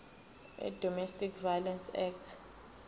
wedomestic violence act